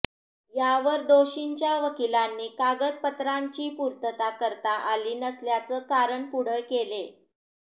यावर दोषींच्या वकिलांनी कागदपत्रांची पूर्तता करता आली नसल्याचं कारण पुढे केलं